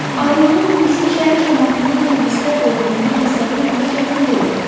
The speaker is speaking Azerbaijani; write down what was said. Ayrılığın bizim şəhər camaatında necə hisslər doğurduğunu təsəvvür etmək çətin deyil.